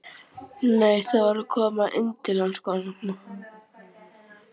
Nei, það var að koma inn til hans kona.